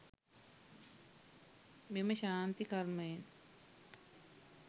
මෙම ශාන්ති කර්මයෙන්